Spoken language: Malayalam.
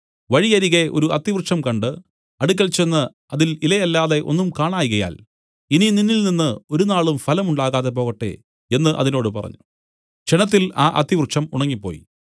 വഴിയരികെ ഒരു അത്തിവൃക്ഷം കണ്ട് അടുക്കൽ ചെന്ന് അതിൽ ഇലയല്ലാതെ ഒന്നും കാണായ്കയാൽ ഇനി നിന്നിൽ ഒരുനാളും ഫലം ഉണ്ടാകാതെ പോകട്ടെ എന്നു അതിനോട് പറഞ്ഞു ക്ഷണത്തിൽ ആ അത്തിവൃക്ഷം ഉണങ്ങിപ്പോയി